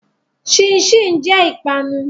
Chin chin jẹ ìpanu.